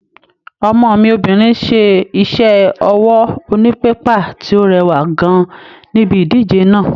Ọmọ mi obìnrin ṣe iṣẹ́ ọwọ́ onípépà tí ó rẹwà gan níbi ìdíje náà.